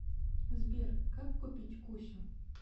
сбер как купить кусю